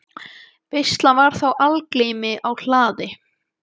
Veisla var þá í algleymi á hlaði.